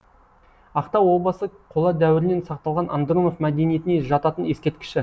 ақтау обасы қола дәуірінен сақталған андронов мәдениетіне жататын ескерткіші